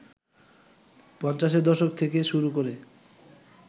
পঞ্চাশের দশক থেকে শুরু করে